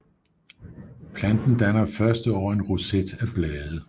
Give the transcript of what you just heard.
Planten danner første år en roset af blade